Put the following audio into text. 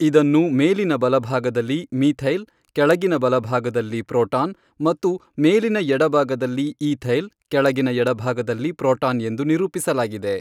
ಇದನ್ನು ಮೇಲಿನ ಬಲಭಾಗದಲ್ಲಿ ಮೀಥೈಲ್ ಕೆಳಗಿನ ಬಲಭಾಗದಲ್ಲಿ ಪ್ರೋಟಾನ್ ಮತ್ತು ಮೇಲಿನ ಎಡಭಾಗದಲ್ಲಿ ಈಥೈಲ್ ಕೆಳಗಿನ ಎಡಭಾಗದಲ್ಲಿ ಪ್ರೋಟಾನ್ ಎಂದು ನಿರೂಪಿಸಲಾಗಿದೆ.